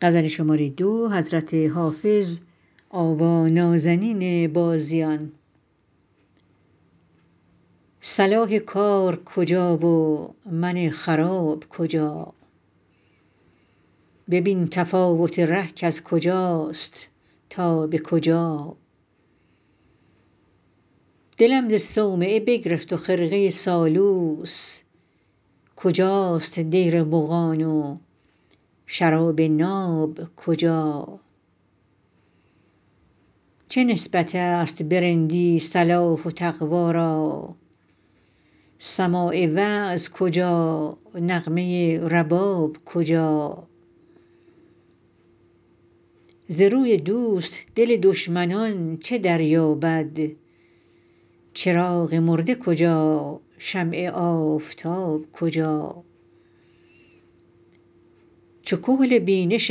صلاح کار کجا و من خراب کجا ببین تفاوت ره کز کجاست تا به کجا دلم ز صومعه بگرفت و خرقه سالوس کجاست دیر مغان و شراب ناب کجا چه نسبت است به رندی صلاح و تقوا را سماع وعظ کجا نغمه رباب کجا ز روی دوست دل دشمنان چه دریابد چراغ مرده کجا شمع آفتاب کجا چو کحل بینش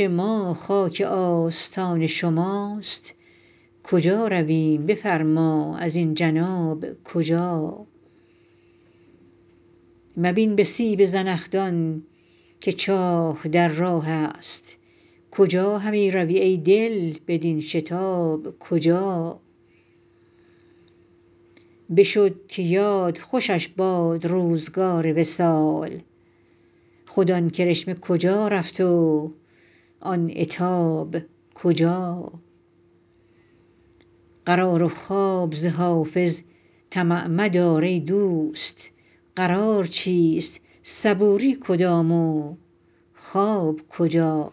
ما خاک آستان شماست کجا رویم بفرما ازین جناب کجا مبین به سیب زنخدان که چاه در راه است کجا همی روی ای دل بدین شتاب کجا بشد که یاد خوشش باد روزگار وصال خود آن کرشمه کجا رفت و آن عتاب کجا قرار و خواب ز حافظ طمع مدار ای دوست قرار چیست صبوری کدام و خواب کجا